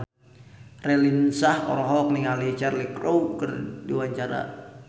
Raline Shah olohok ningali Cheryl Crow keur diwawancara